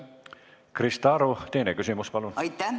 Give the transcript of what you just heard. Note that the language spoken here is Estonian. Krista Aru, teine küsimus, palun!